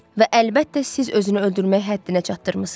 Və əlbəttə, siz özünü öldürmək həddinə çatdırmısız.